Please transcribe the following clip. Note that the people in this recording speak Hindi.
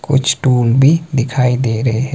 कुछ टुल भी दिखाई दे रहे हैं।